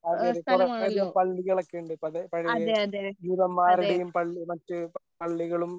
അതെ അതെ. കുറേ അധികം പള്ളികളൊക്കെ ഉണ്ട്. ഇപ്പോ അത് പഴയ ജൂതന്മാരുടെയും പള്ളി മറ്റ് പള്ളികളും